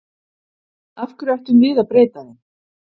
Af hverju ættum við að breyta þeim?